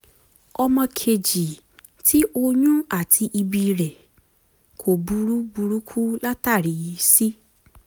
ọmọ kejì tí oyún àti ìbí rẹ̀ kò burú burú kú látàrí c